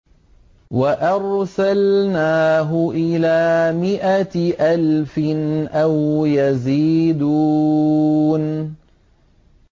وَأَرْسَلْنَاهُ إِلَىٰ مِائَةِ أَلْفٍ أَوْ يَزِيدُونَ